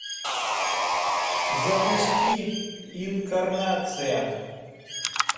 запусти инкарнация